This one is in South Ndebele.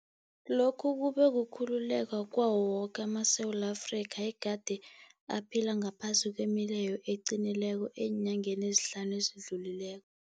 Lokhu kube kukhululeka kwawo woke amaSewula Afrika egade aphila ngaphasi kwemileyo eqinileko eenyangeni ezihlanu ezidlulileko.